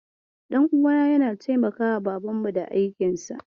Ɗan uwana yana taimakawa babanmu da aikinsa.